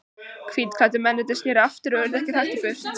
Hvítklæddu mennirnir sneru aftur og urðu ekki hraktir burt.